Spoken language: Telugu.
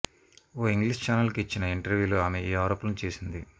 ఓ ఇంగ్లిష్ చానెల్కు ఇచ్చిన ఇంటర్వ్యూలో ఆమె ఈ ఆరోపణలు చేసింది